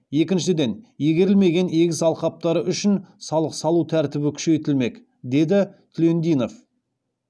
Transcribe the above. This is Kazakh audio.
екіншіден игерілмеген егіс алқаптары үшін салық салу тәртібі күшейтілмек деді түлендинов